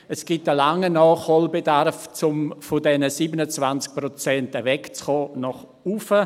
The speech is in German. Es gibt einen grossen Nachholbedarf, um von diesen 27 Prozent wegzukommen, nach oben.